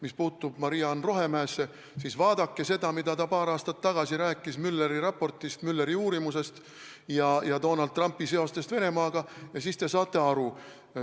Mis puutub Maria-Ann Rohemäesse, siis vaadake seda, mida ta paar aastat tagasi rääkis Muelleri raportist, Muelleri uurimisest ja Donald Trumpi seostest Venemaaga, ning siis te saate aru.